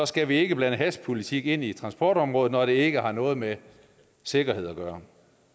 skal ikke blande hashpolitik ind i transportområdet når det ikke har noget med sikkerhed at gøre